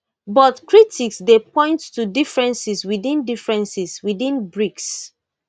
but critics dey point to differences within differences within brics